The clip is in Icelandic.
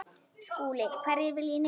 SKÚLI: Hverjir vilja í nefið.